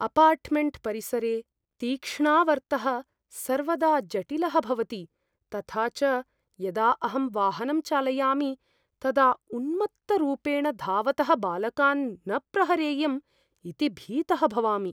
Apartment परिसरे तीक्ष्णावर्तः सर्वदा जटिलः भवति तथा च यदा अहं वाहनं चालयामि तदा उन्मत्तरूपेण धावतः बालकान् न प्रहरेयम् इति भीतः भवामि।